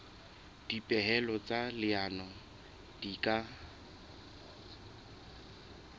dipehelo tsa leano di ka